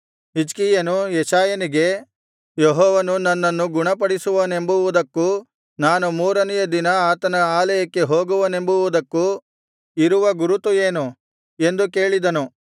ಹಿಜ್ಕೀಯನು ಯೆಶಾಯನಿಗೆ ಯೆಹೋವನು ನನ್ನನ್ನು ಗುಣಪಡಿಸುವನೆಂಬುವುದಕ್ಕೂ ನಾನು ಮೂರನೆಯ ದಿನ ಆತನ ಆಲಯಕ್ಕೆ ಹೋಗುವೆನೆಂಬುವುದಕ್ಕೂ ಇರುವ ಗುರುತು ಏನು ಎಂದು ಕೇಳಿದನು